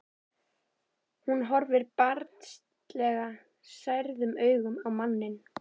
Hún horfir barnslega særðum augum á manninn.